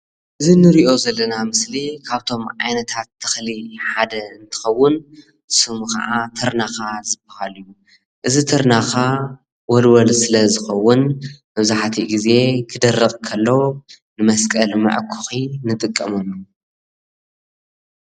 እዚ እንሪኦ ዘለና ምስሊ ካብቶም ዓይነታት ተክሊ ሓደ እንትኸውን ስሙ ከዓ ትርናካ ዝባሃል እዩ። እዚ ትርናካ ወልወል ስለ ዝኸውን መብዛሕትኡ ግዜ ክደርቅ ከሎ ንመስቀል መዐኮኺ ንጥቀመሉ።